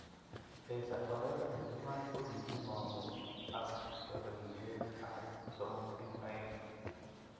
El Salvador eng iman koki mangu ak kapelisiet ab 3-2